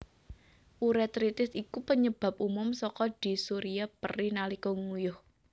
Urétritis iku panyebab umum saka dysuria perih nalika nguyuh